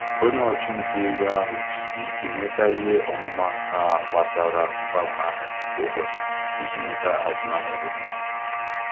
Onye ntinye ego nwere ahụmahụ na-ejikarị oge ahịa e nweta mkparịta ụka azụmahịa dị mma.